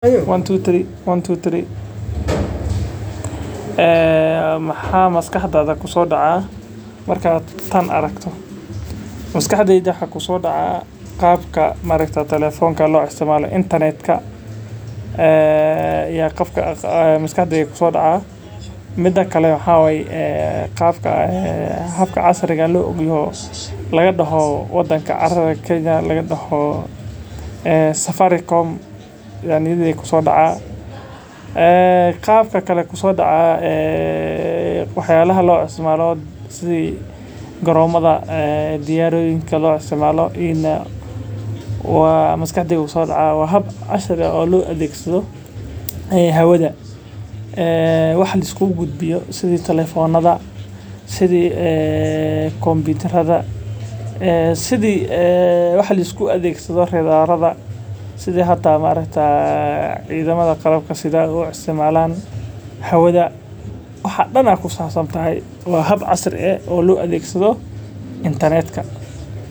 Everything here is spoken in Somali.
Maxaa maskaxdeyda kusoo dacaaya markaad tan aragto waxaa kusoo dacaa qabka telefonka loo isticmaalo habka casriga laga daho hawada ayaa niyada kusoo dacaa qabka kale wax yaabaha garoonka diyaarad loo isticmaalo waa hab casri loo isticmaalo hawada sida wax liskugu adeegsado cidamaha qalabka sida waa hab casri ah.